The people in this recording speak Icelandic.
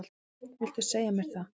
Viltu segja mér það?